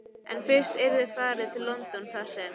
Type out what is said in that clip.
En fyrst yrði farið til London þar sem